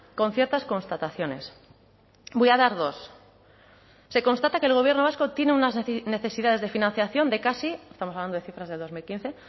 con ciertas constataciones voy a dar dos se constata que el gobierno vasco tiene unas necesidades de financiación de casi estamos hablando de cifras de dos mil quince